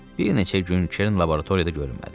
Bir neçə gün Kern laboratoriyada görünmədi.